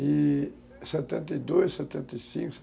E setenta e dois, setenta e cinco,